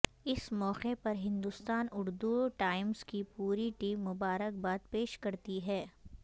اس موقع پر ہندوستان اردو ٹائمز کی پوری ٹیم مبارکباد پیش کرتی ہے